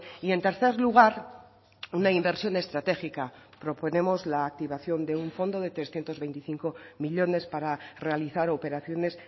y en tercer lugar una inversión estratégica proponemos la activación de un fondo de trescientos veinticinco millónes para realizar operaciones